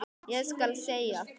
Ég skal segja þér,